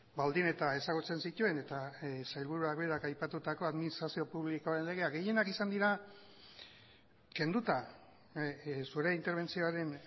baldin eta ezagutzen zituen eta sailburuak berak aipatutako administrazio publikoen legea gehienak izan dira kenduta zure interbentzioaren